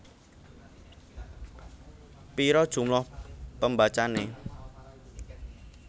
Pira jumlah pembacane